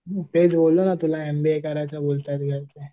ते बोललो ना तुला एमबीए करायचं बोलतायत घरचे.